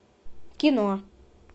кино